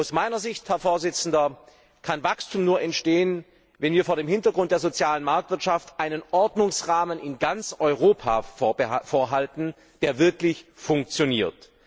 Aus meiner Sicht kann Wachstum nur entstehen, wenn wir vor dem Hintergrund der sozialen Marktwirtschaft einen Ordnungsrahmen in ganz Europa vorhalten, der wirklich funktioniert.